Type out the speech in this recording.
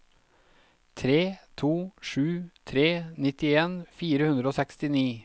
tre to sju tre nittien fire hundre og sekstini